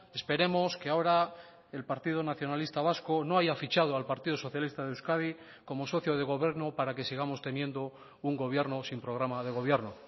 esperemos que ahora el partido nacionalista vasco no haya fichado al partido socialista de euskadi como socio de gobierno para que sigamos teniendo un gobierno sin programa de gobierno